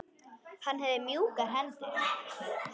Hann hafði mjúkar hendur.